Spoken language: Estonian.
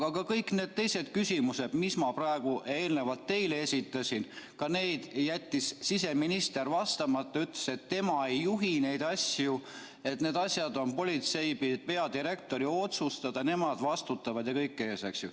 Aga kõikidele teistele küsimustele, mis ma ennist teile esitasin, jättis siseminister vastamata, öeldes, et tema ei juhi neid asju, need on politsei peadirektori otsustada, nemad vastutavad jne.